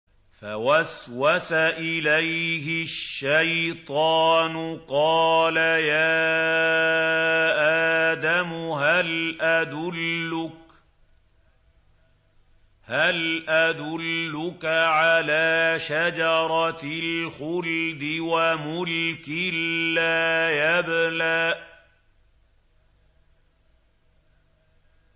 فَوَسْوَسَ إِلَيْهِ الشَّيْطَانُ قَالَ يَا آدَمُ هَلْ أَدُلُّكَ عَلَىٰ شَجَرَةِ الْخُلْدِ وَمُلْكٍ لَّا يَبْلَىٰ